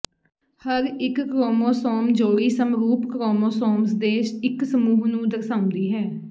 ਹਰ ਇੱਕ ਕ੍ਰੋਮੋਸੋਮ ਜੋੜੀ ਸਮਰੂਪ ਕ੍ਰੋਮੋਸੋਮਸ ਦੇ ਇੱਕ ਸਮੂਹ ਨੂੰ ਦਰਸਾਉਂਦੀ ਹੈ